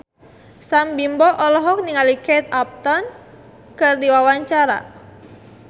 Sam Bimbo olohok ningali Kate Upton keur diwawancara